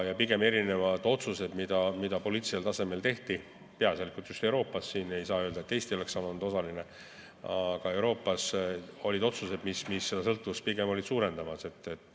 Ja erinevad otsused, mida poliitilisel tasemel tehti – peaasjalikult just Euroopas, ei saa öelda, et ainult Eesti oleks seal olnud osaline –, seda sõltuvust pigem suurendasid.